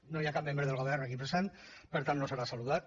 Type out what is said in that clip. no hi ha cap membre del govern aquí present per tant no serà saludat